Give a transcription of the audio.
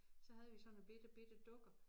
Så havde vi sådan nogle bitte bitte dukker